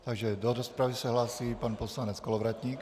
Takže do rozpravy se hlásí pan poslanec Kolovratník.